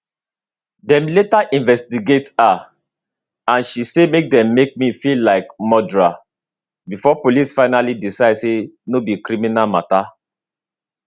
dem later investigate her and she say dem make me feel like murderer before police finaly decide say no be criminal mata